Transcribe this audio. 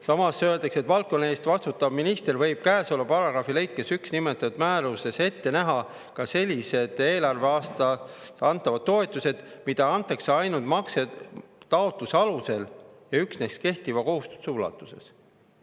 Samas öeldakse, et valdkonna eest vastutav minister võib käesoleva paragrahvi lõikes 1 nimetatud määruses ette näha ka sellised eelarveaastal antavad toetused, mida antakse ainult maksetaotluse alusel ja üksnes kehtiva kohustuse ulatuses.